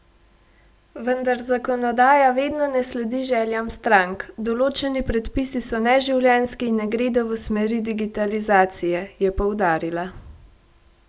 Vendar zakonodaja vedno ne sledi željam strank: "Določeni predpisi so neživljenjski in ne gredo v smeri digitalizacije," je poudarila.